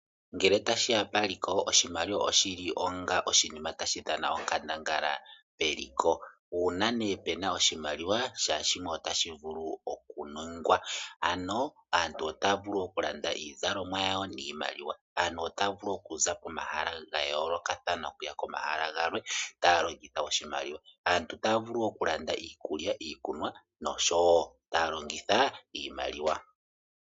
Ngele tashiya paliko oshimaliwa oshili onga oshinima tashi dhana onkandangala meliko. Una nee pena oshimaliwa shaashimwe otashi vulu oku ningwa. Ano aantu otaya vulu oku landa iizalomwa yawo niimaliwa. Aantu otaya vulu oku za komahala gayolokathana okuya komahala galwe taya longitha oshimaliwa. Aantu taya vulu oku landa iikulya noshowo iikunwa taya longitha iimaliwa.